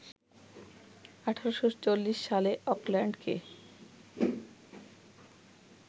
১৮৪০ সালে অকল্যান্ডকে